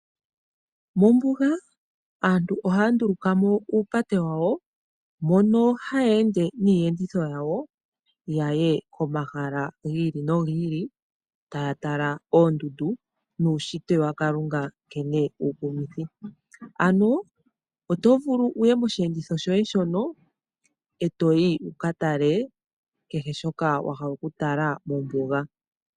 Mombuga aantu ohaya nduluka mo uupate wawo moka haye ende niiyenditho yawo yaye komahala gi ili nogi ili taya tala oondundu nuushitwe wakalunga nkene uukumithi, ano otovulu wuye moshiyenditho shoye shono e toyi wuka tala kehe shoka wahala okutala mombuga.